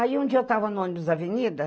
Aí um dia eu estava no ônibus na Avenida.